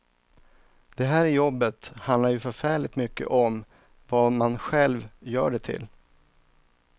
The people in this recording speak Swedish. Det här jobbet handlar ju förfärligt mycket om vad man själv gör det till.